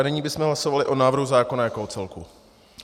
A nyní bychom hlasovali o návrhu zákona jako o celku.